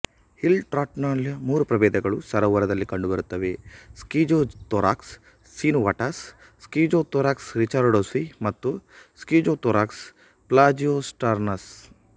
hill ಟ್ರೌಟ್ನ ಮೂರು ಪ್ರಭೇದಗಳು ಸರೋವರದಲ್ಲಿ ಕಂಡುಬರುತ್ತವೆ ಸ್ಕಿಜೋಥೊರಾಕ್ಸ್ ಸಿನುವಾಟಸ್ ಸ್ಕಿಜೋಥೊರಾಕ್ಸ್ ರಿಚರ್ಡ್ಸೋನಿ ಮತ್ತು ಸ್ಕಿಜೋಥೊರಾಕ್ಸ್ ಪ್ಲಾಜಿಯೊಸ್ಟಾರ್ನಸ್